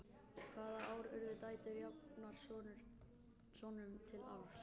hvaða ár urðu dætur jafnar sonum til arfs